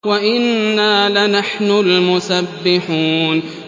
وَإِنَّا لَنَحْنُ الْمُسَبِّحُونَ